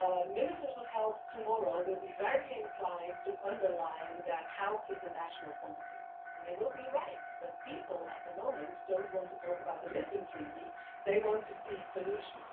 Ministers of health tomorrow will be very inclined to underline that health is a national competence, and they will be right, but people at the moment don't want to talk about the Lisbon Treaty, they want to see solutions.